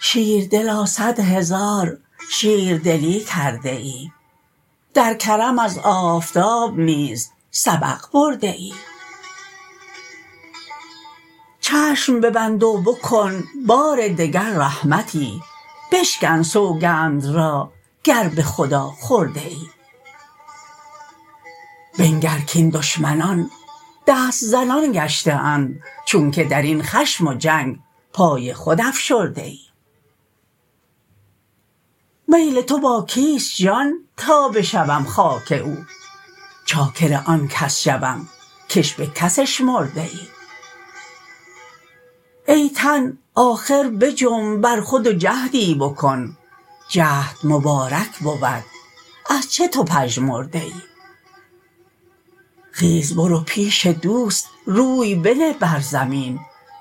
شیردلا صد هزار شیردلی کرده ای در کرم از آفتاب نیز سبق برده ای چشم ببند و بکن بار دگر رحمتی بشکن سوگند را گر به خدا خورده ای بنگر کاین دشمنان دست زنان گشته اند چونک در این خشم و جنگ پای خود افشرده ای میل تو با کیست جان تا بشوم خاک او چاکر آن کس شوم کش به کس اشمرده ای ای تن آخر بجنب بر خود و جهدی بکن جهد مبارک بود از چه تو پژمرده ای خیز برو پیش دوست روی بنه بر زمین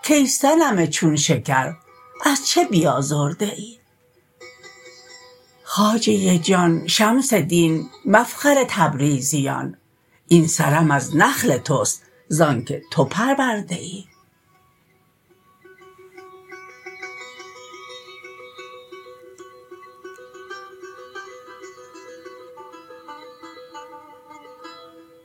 کای صنم چون شکر از چه بیازرده ای خواجه جان شمس دین مفخر تبریزیان این سرم از نخل تست زانک تو پرورده ای